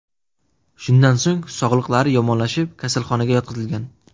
Shundan so‘ng sog‘liqlari yomonlashib, kasalxonaga yotqizilgan.